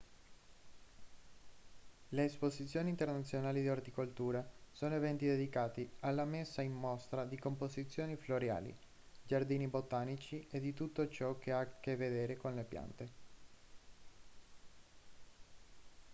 le esposizioni internazionali di orticoltura sono eventi dedicati alla messa in mostra di composizioni floreali giardini botanici e di tutto ciò che ha a che vedere con le piante